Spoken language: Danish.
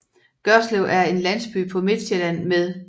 Gørslev er en landsby på Midtsjælland med